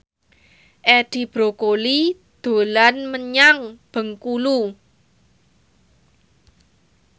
Edi Brokoli dolan menyang Bengkulu